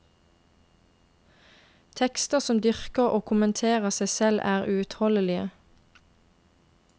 Tekster som dyrker og kommenterer seg selv er uutholdelige.